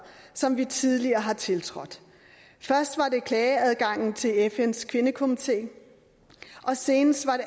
som vi tidligere har tiltrådt først var det klageadgangen til fns kvindekomité og senest var det